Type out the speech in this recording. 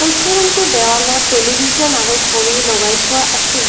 কক্ষ ৰুম টোৰ দেৱালত টেলিভিছন আৰু ঘড়ী লগাই থোৱা আছে।